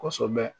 Kosɛbɛ